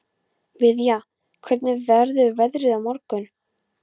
Viðja, hvernig verður veðrið á morgun?